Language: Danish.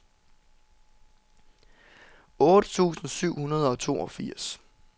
otte tusind syv hundrede og toogfirs